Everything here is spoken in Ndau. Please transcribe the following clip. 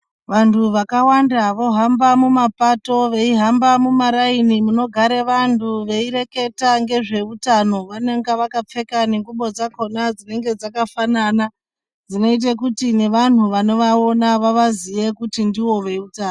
Vantu vakawanda vohamba mumapato vayihambe mumarayini munogare vantu veyireketa ngezvehutano. Vanonga vakapfeka nenguwo dzakhona dzinenge dzakafanana dzinoite kuti nevanhu vano vanovawona vavaziye kuti ndivo vehutano.